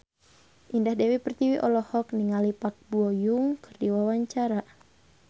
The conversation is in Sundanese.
Indah Dewi Pertiwi olohok ningali Park Bo Yung keur diwawancara